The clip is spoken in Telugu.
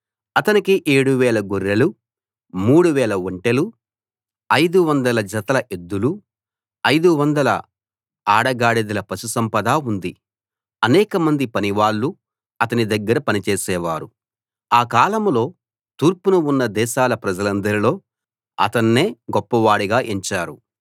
అతనికి 7000 గొర్రెలు 3000 ఒంటెలు 500 జతల ఎద్దులు 500 ఆడగాడిదల పశుసంపద ఉంది అనేకమంది పనివాళ్ళు అతని దగ్గర పని చేసేవారు ఆ కాలంలో తూర్పున ఉన్న దేశాల ప్రజలందరిలో అతన్నే గొప్పవాడుగా ఎంచారు